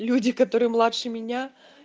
люди которые младше меня